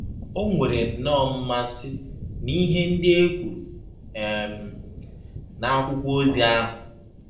Onwere nnọọ mmasị n’ihe ndị e kwuru um n’akwụkwọ ozi ahụ.